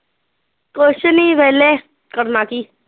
ਕੁਸ਼ ਨੀ ਵੇਹਲੇ, ਕਰਨਾ ਕੀ